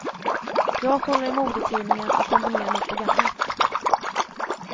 Jag kollar i modetidningar, och kombinerar nytt och gammalt.